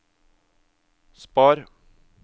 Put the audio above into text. spar